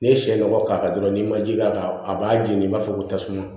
N'i ye sɛ nɔgɔ k'a kan dɔrɔn n'i ma ji k'a kan a b'a jeni i b'a fɔ ko tasuma